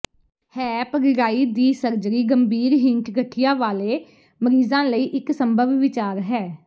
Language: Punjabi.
ਹੈਪ ਰੀੜ੍ਹਾਈ ਦੀ ਸਰਜਰੀ ਗੰਭੀਰ ਹਿੰਟ ਗਠੀਆ ਵਾਲੇ ਮਰੀਜ਼ਾਂ ਲਈ ਇਕ ਸੰਭਵ ਵਿਚਾਰ ਹੈ